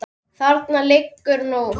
Þarna liggur nú